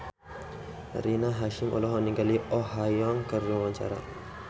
Rina Hasyim olohok ningali Oh Ha Young keur diwawancara